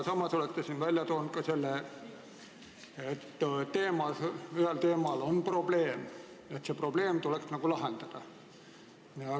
Samas olete siin rõhutanud, et meil on suur probleem ja see probleem tuleks lahendada.